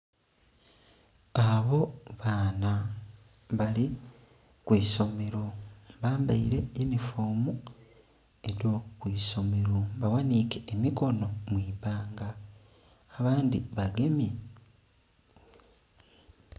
Abo baana bali kwisomero bambaire unifoomu edho kwisomero baghanhike emikonho mwibbanga abandhi bagemye..